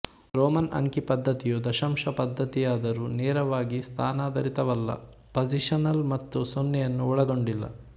Roman ಅಂಕಿ ಪದ್ಧತಿಯು ದಶಾಂಶ ಪದ್ಧತಿಯಾದರೂ ನೇರವಾಗಿ ಸ್ಥಾನಾಧಾರಿತವಲ್ಲ ಪಜಿಶನಲ್ ಮತ್ತು ಸೊನ್ನೆಯನ್ನು ಒಳಗೊಂಡಿಲ್ಲ